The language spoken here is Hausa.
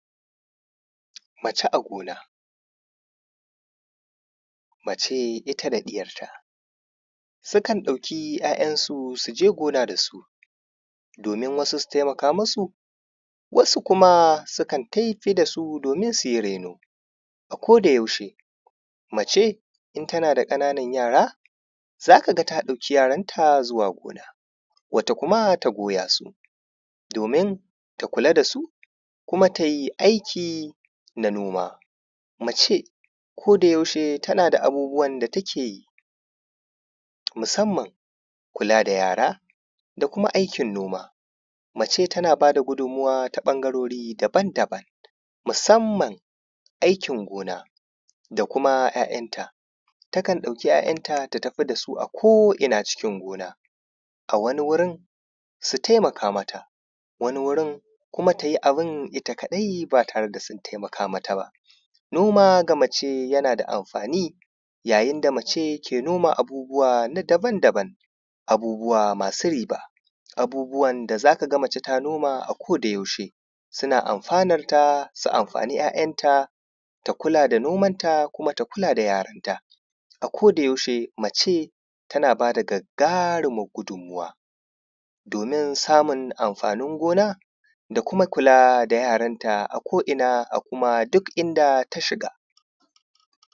mace a gona mace ita da ɗiyar ta sukan ɗauki ‘ya’yan su suje gona dasu domin wasu su taimaka musu wasu kuma sukan tafi dasu domin suyi raino a koda yaushe mace in tana da ƙananan yara zaka ga ta ɗauki yaran ta zuwa gona wata kuma ta goya su domin ta kula dasu kuma ta yi aiki na noma mace koda yaushe tana da abubuwan da ta keyi musamman kula da yara da kuma aikin noma mace tana bada gudunmuwa ta ɓangarori daban-daban musamman aikin gona da kuma ‘ya’yan ta takan ɗauki ‘ya’yan ta ta tafi dasu a ko’ina cikin gona a wani gurin su taimaka mata wani gurin kuma tayi abun ita kaɗai ba tare da sun taimaka mata ba noma ga mace yana da amfani yayin da mace ke noma abubuwa na daban-daban abubuwa masu riba abubuwan da zaka ga mace ta noma a koda yaushe suna amfanar ta su amfani ‘ya’yan ta ta kula da noman ta kuma ta kula da yaran ta a koda yaushe mace tana bada gaggarumar gudunmuwa domin samun amfanin gona da kuma kula da yaran ta a ko’ina a kuma duk inda ta shiga